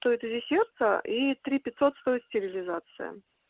стоит узи сердца и три пятьсот стоит стерилизация